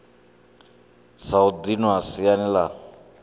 sa u dinwa siani la